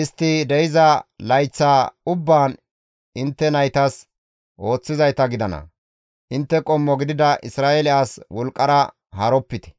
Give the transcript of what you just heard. istti de7iza layththa ubbaan intte naytas ooththizayta gidana; intte qommo gidida Isra7eele as wolqqara haaropite.